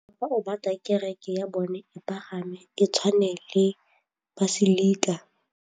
Mopapa o batla kereke ya bone e pagame, e tshwane le paselika.